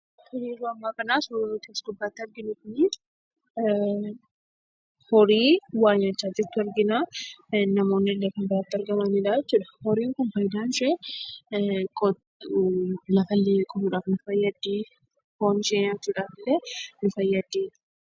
Tole, yeroo ammaa suuraa nuti as gubbaatti arginu kunii horii waa nyaachaa jirtu arginaa. Namoonnillee kan biratti argamanidha jechuudha. Horiin kun fayidaan ishee lafallee qotuudhaaf nu fayyaddii. Foon ishee nyaachuudhaafillee nu fayyaddi.